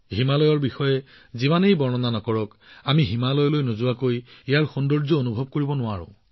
হিমালয়ৰ কথা যিমানেই নকওক কিয় হিমালয় পৰ্বত নেদেখিলে আমি ইয়াৰ সৌন্দৰ্য্যৰ মূল্যায়ন কৰিব নোৱাৰো